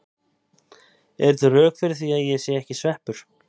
Eru til rök fyrir því að ég sé ekki sveppur?